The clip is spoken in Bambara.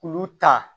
K'olu ta